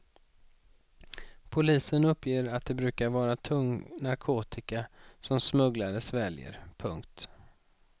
Polisen uppger att det brukar vara tung narkotika som smugglare sväljer. punkt